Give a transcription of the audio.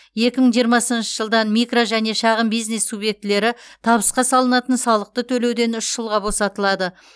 екі мың жиырмасыншы жылдан микро және шағын бизнес субъектілері табысқа салынатын салықты төлеуден үш жылға босатылады